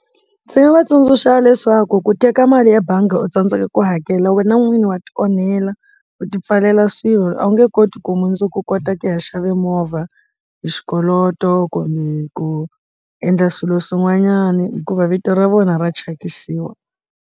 Ndzi nga va tsundzuxa leswaku ku teka mali ebangi u tsandzeka ku hakela wena n'wini wa ti onhela u ti pfalela swilo a wu nge koti ku mundzuku kota ku ya xave movha hi xikoloto kumbe ku endla swilo swin'wanyana hikuva vito ra vona ra thyakisiwa.